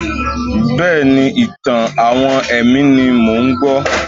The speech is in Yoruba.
Bẹ́ẹ̀ni, ìtàn-àwọn ẹ̀mí ni mò ń gbọ́.